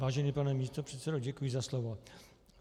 Vážený pane místopředsedo, děkuji za slovo.